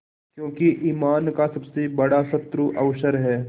क्योंकि ईमान का सबसे बड़ा शत्रु अवसर है